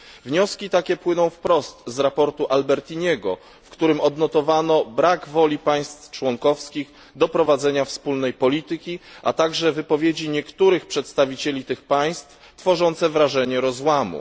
Wnioski takie płyną wprost ze sprawozdania Albertiniego, w którym odnotowano brak woli państw członkowskich do prowadzenia wspólnej polityki, a także wypowiedzi niektórych przedstawicieli tych państw, tworzące wrażenie rozłamu.